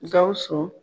Gawusu